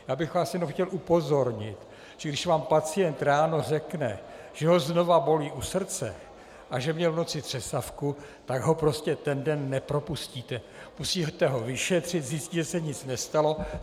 Já bych vás jenom chtěl upozornit, že když vám pacient ráno řekne, že ho znovu bolí u srdce a že měl v noci třesavku, tak ho prostě ten den nepropustíte, musíte ho vyšetřit, zjistit, že se nic nestalo.